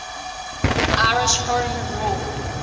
irish home rule